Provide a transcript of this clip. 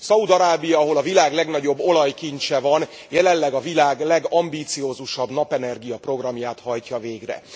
Szaúd Arábia, ahol a világ legnagyobb olajkincse van, jelenleg a világ legambiciózusabb napenergia programját hajtja végre.